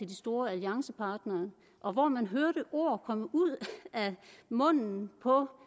de store alliancepartnere og hvor man hørte ord komme ud af munden på